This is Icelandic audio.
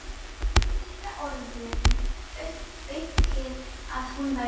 Það var líka orðum aukið að hún væri að tala.